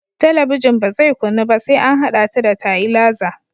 Talabijin ba zai kunnu ba sai an haɗa ta da tailaza